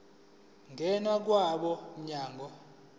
ngena kwabo mnyango